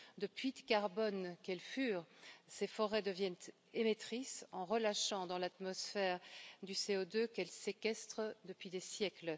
De puits carbone quelles furent, ces forêts deviennent émettrices en relâchant dans l'atmosphère du CO2 qu'elles séquestrent depuis des siècles.